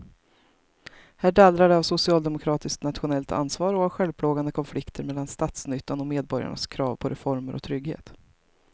Här dallrar det av socialdemokratiskt nationellt ansvar och av självplågande konflikter mellan statsnyttan och medborgarnas krav på reformer och trygghet.